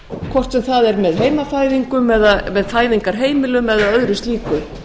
hvort sem það er með heimafæðingum eða með fæðingarheimilum eða öðru slíku